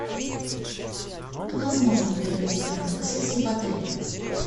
возможно ли проведение фотосессии в отеле